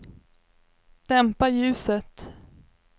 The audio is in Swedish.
dämpa ljuset